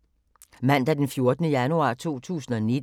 Mandag d. 14. januar 2019